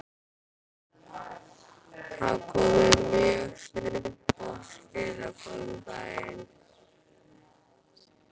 Það komu mjög snubbótt skilaboð um daginn.